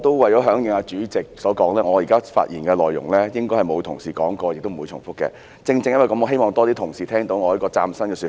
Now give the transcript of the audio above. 為了響應主席所說，我以下的發言內容應該沒有同事提及，亦不會重複，正因如此，我希望有更多同事聆聽到我這個嶄新的說法。